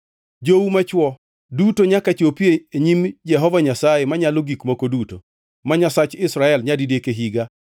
Jou machwo duto nyaka chopi e nyim Jehova Nyasaye Manyalo Gik Moko Duto, ma Nyasach Israel nyadidek e higa.